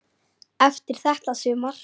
Eftir þetta sumar.